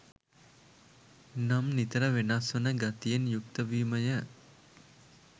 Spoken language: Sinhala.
නම් නිතර වෙනස් වන ගතියෙන් යුක්ත වීමය.